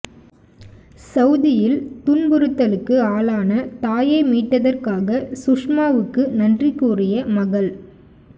சவுதியில் துன்புறுத்தலுக்கு ஆளான தாயை மீட்டதற்காக சுஷ்மாவுக்கு நன்றி கூறிய மகள்